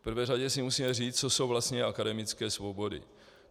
V první řadě si musíme říct, co jsou vlastně akademické svobody.